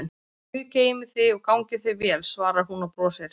Guð geymi þig og gangi þér vel, svarar hún og brosir.